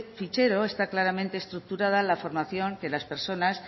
fichero está claramente estructurada la formación que las personas